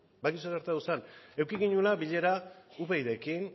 gertatu zen eduki genuela bilera upydrekin